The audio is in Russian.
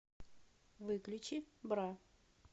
выключи бра